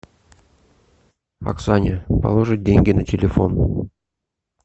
оксане положить деньги на телефон